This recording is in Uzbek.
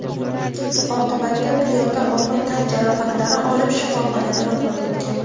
Oqibatda piyoda og‘ir tan jarohatlari olib shifoxonada vafot etgan.